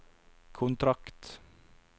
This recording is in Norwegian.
kontrakt